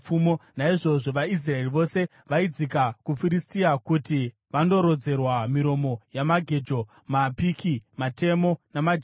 Naizvozvo vaIsraeri vose vaidzika kuvaFiristia kuti vandorodzerwa miromo yamagejo, mapiki, matemo namajeko.